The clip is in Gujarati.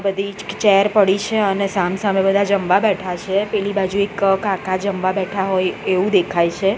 બધી ચ્ક ચેર પડી છે અને સામ સામે બધા જમવા બેઠા છે પેલી બાજુ એક કાકા જમવા બેઠા હોય એવું દેખાય છે.